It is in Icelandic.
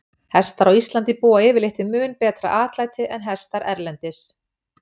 Hestar á Íslandi búa yfirleitt við mun betra atlæti en hestar erlendis.